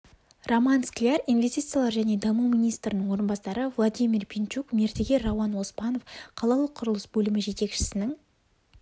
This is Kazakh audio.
роман скляр инвестициялар және даму министрінің орынбасары владимир пинчук мердігер рауан оспанов қалалық құрылыс бөлімі жетекшісінің